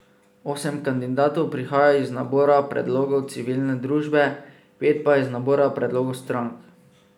Osem kandidatov prihaja iz nabora predlogov civilne družbe, pet pa iz nabora predlogov strank.